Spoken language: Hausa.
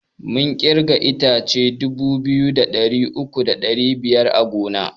Mun kirga itace dubu biyu da ɗari uku da ɗari biyar a gona